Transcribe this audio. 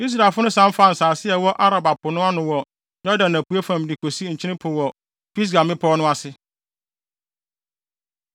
Israelfo no san faa nsase a ɛwɔ Araba po no ano wɔ Yordan apuei fam de kosi Nkyene Po wɔ Pisga mmepɔw no ase.